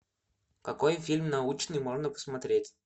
какой фильм научный можно посмотреть